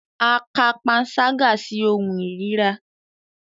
A ka panṣaga si ohun irira